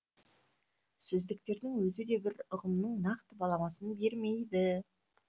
сөздіктердің өзі де бір ұғымның нақты баламасын бермейді